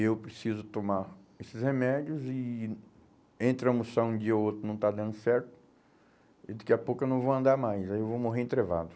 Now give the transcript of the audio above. Eu preciso tomar esses remédios e entre almoçar um dia ou outro não está dando certo e daqui a pouco eu não vou andar mais, aí eu vou morrer entrevado.